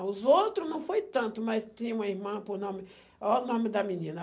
Os outros não foi tanto, mas tinha uma irmã por nome... Óh o nome da menina.